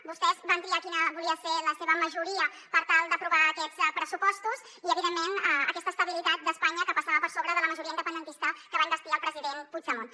vostès van triar quina volia ser la seva majoria per tal d’aprovar aquests pressupostos i evidentment aquesta estabilitat d’espanya que passava per sobre de la majoria independentista que va investir el president puigdemont